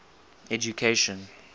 education